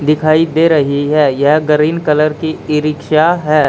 दिखाई दे रही है यह गरीन कलर की ई रिक्शा है।